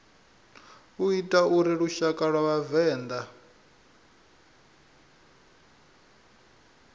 ita uri lushaka lwa vhavenḓa